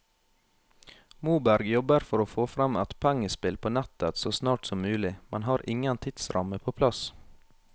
Moberg jobber for å få frem et pengespill på nettet så snart som mulig, men har ingen tidsramme på plass.